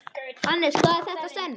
Hannes, hvað er þetta sem?